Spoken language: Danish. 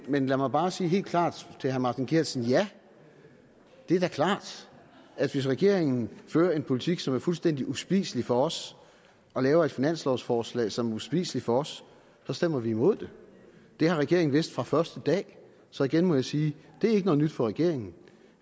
men lad mig bare sige helt klart til herre martin geertsen ja det er da klart at hvis regeringen fører en politik som er fuldstændig uspiselig for os og laver et finanslovforslag som er uspiseligt for os så stemmer vi imod det det har regeringen vidst fra første dag så igen må jeg sige det er ikke noget nyt for regeringen